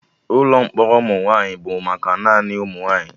Ụkọ mkpọrọ ụmụ nwaanyị bụ maka naanị ụmụnwaanyi